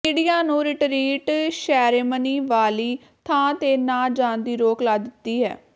media ਨੂੰ retreat ceremony ਵਾਲੀ ਥਾਂ ਤੇ ਨਾ ਜਾਣ ਦੀ ਰੋਕ ਲਾ ਦਿਤੀ ਹੈ